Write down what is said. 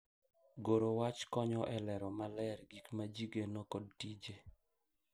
Goro wach konyo e lero maler gik ma ji geno kod tije